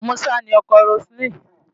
Musa ni ọkọ Roseline.